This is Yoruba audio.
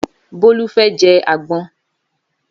Bólú fẹ́ jẹ àgbọn.